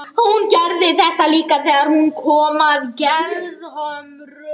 Hún gerði þetta líka þegar hún kom að Gerðhömrum.